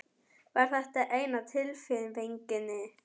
Var þetta eina tilnefningin?